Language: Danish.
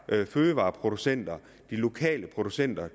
her fødevareproducenter de lokale producenter